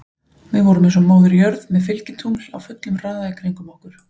Við vorum eins og Móðir jörð með fylgitungl á fullum hraða í kringum okkur.